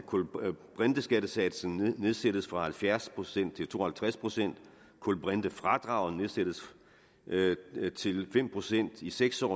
kulbrinteskattesatsen nedsættes fra halvfjerds procent til to og halvtreds procent kulbrintefradraget nedsættes til fem procent i seks år